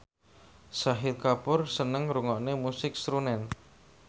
Shahid Kapoor seneng ngrungokne musik srunen